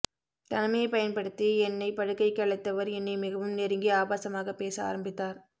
தனிமையைப் பயன்படுத்தி என்னைப் படுக்கைக்கு அழைத்தவர் என்னை மிகவும் நெருங்கி ஆபாசமாகப் பேச ஆரம்பித்தார்